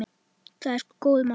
Það er sko góður maður.